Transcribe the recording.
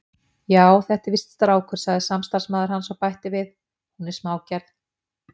Já, þetta er víst strákur, sagði samstarfsmaður hans og bætti við: Hún er smágerð.